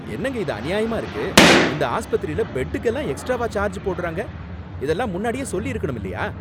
என்னங்க இது அநியாயமா இருக்கு! இந்த ஆஸ்பத்திரில பெட்டுக்கெல்லாம் எக்ஸ்ட்ராவா சார்ஜ் போடுறாங்க, இதெல்லாம் முன்னாடியே சொல்லிருக்கணும் இல்லையா!